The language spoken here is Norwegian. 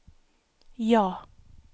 ja